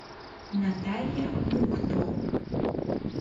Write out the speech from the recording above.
наталья мукто